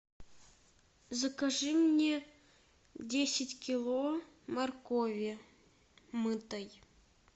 закажи мне десять кило моркови мытой